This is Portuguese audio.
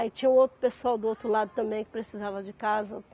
Aí tinha um outro pessoal do outro lado também que precisava de casa.